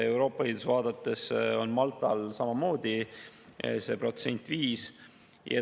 Euroopa Liitu vaadates on Maltal samamoodi see protsent 5.